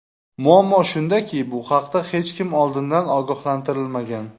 Muammo shundaki, bu haqda hech kim oldindan ogohlantirilmagan.